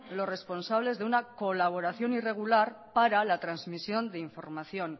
los responsables de una colaboración irregular para la transmisión de información